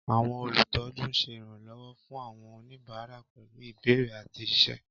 Àwọn olùtọ́jú ń ṣe ìrànlọ́wọ́ fún àwọn oníbàárà pẹ̀lú ìbéèrè àti iṣẹ́.